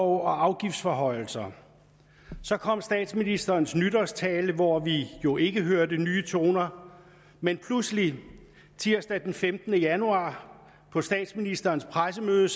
og afgiftsforhøjelser så kom statsministerens nytårstale hvor vi jo ikke hørte nye toner men pludselig tirsdag den femtende januar på statsministerens pressemøde